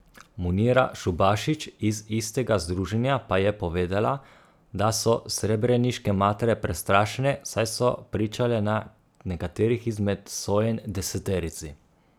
Munira Šubašić iz istega združenja pa je povedala, da so srebreniške matere prestrašene, saj so pričale na nekaterih izmed sojenj deseterici.